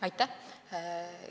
Aitäh!